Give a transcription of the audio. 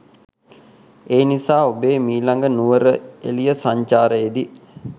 ඒනිසා ඔබේ මීලග නුවරඑලිය සංචාරයේදී